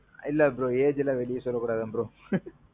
இல்ல bro. age எல்லாம் வெளிய சொல்ல கூடாதாம் bro.